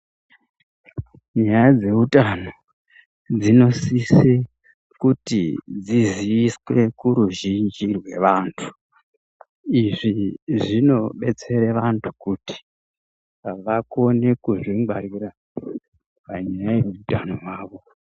Nyaya dzeutano dzinosise kuti dziziviswe kuruzhinji rwevantu. Izvi zvinobetsera antu kuti vakone kuzvingwarira panyaya yeutano hwavo.